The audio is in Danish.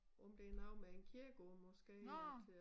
Om det noget med kirkegård måske at øh